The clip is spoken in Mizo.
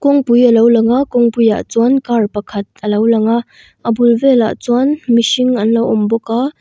kawngpui a lo lang a kawngpui ah chuan car pakhat a lo lang a a bul velah chuan mihring an lo awm bawk a.